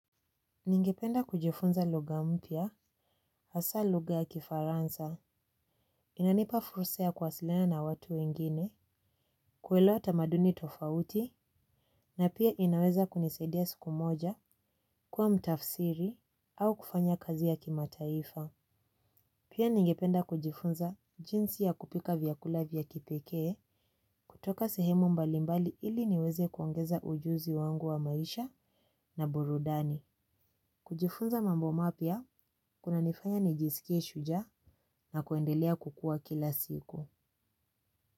Ningependa kujifunza lugha mpya, hasaa lugha ya kifaransa, inanipa fursa ya kuwasiliana na watu wengine, kuelewa tamaduni tofauti, na pia inaweza kunisaidia siku moja, kuwa mtafsiri, au kufanya kazi ya kimataifa. Pia ningependa kujifunza jinsi ya kupika vyakula vya kipekee, kutoka sehemu mbalimbali ili niweze kuongeza ujuzi wangu wa maisha na burudani. Kujifunza mambo mapya, kunanifanya nijisikie shujaa na kuendelea kukua kila siku.